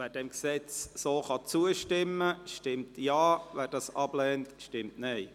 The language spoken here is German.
Wer diesem Gesetz so zustimmen kann, stimmt Ja, wer dies ablehnt, stimmt Nein.